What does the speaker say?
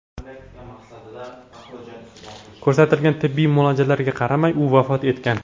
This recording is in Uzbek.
Ko‘rsatilgan tibbiy muolajalarga qaramay u vafot etgan.